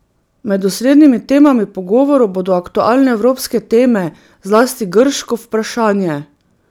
Med osrednjimi temami pogovorov bodo aktualne evropske teme, zlasti grško vprašanje.